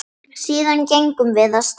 Síðan gengum við af stað.